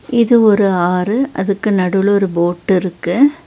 இது ஒரு ஆறு அதுக்கு நடுவுல ஒரு போட் இருக்கு.